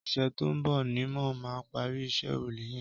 Ọsẹ tó n bọ nimó mà pàri iṣẹ̀ órúlé yẹ̀n